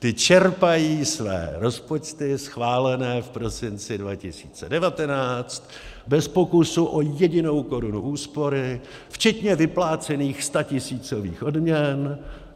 Ty čerpají své rozpočty schválené v prosinci 2019 bez pokusu o jedinou korunu úspory včetně vyplácených statisícových odměn.